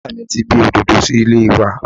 Ìyá mi ti gbin Òdòdó sí ilé wa